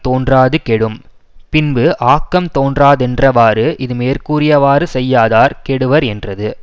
தோன்றாது கெடும் பின்பு ஆக்கம் தோன்றாதென்றவாறு இது மேற்கூறியவாறு செய்யாதார் கெடுவரென்றது